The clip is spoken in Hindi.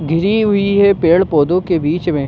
घिरी हुई है पेड़ पौधों के बीच में।